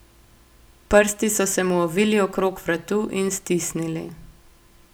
Prsti so se mu ovili okrog vratu in stisnili.